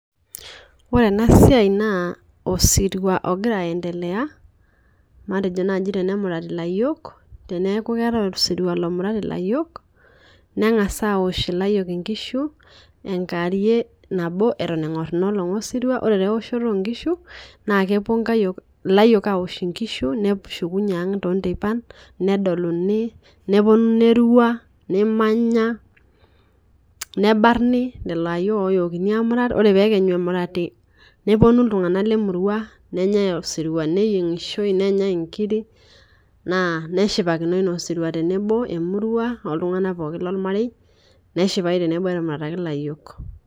Ore ena siai naa osirua ogira aendelea matejo tenemurati ilayiok neeku keetae osirua lomurati inkayiok, neng'as aosh ilayiok inkishu enkewarie nabo eton eng'or ina olong' osirua. Ore taa eoshoto oo nkishu naa kepuo ilayiok aosh inkishu neshukunye ang' too ntepain nedoluni nepuonu nerua nemanya nebarni nena ayiok nakenyu emurati. ore pee ekenyu emurati nepuonu iltung'ana lemurua nenyae osirua neyiong'ishoi nenyae inkirik naa nshipakinoi naa osirua tee nebo emurua oo ltungana pookin lo marei neshipae tenebo etumurataki ilayiok.